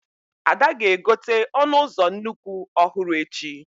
Ada ga-egote ọnụ ụzọ nnukwu ọhụrụ echi